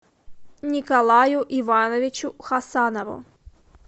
николаю ивановичу хасанову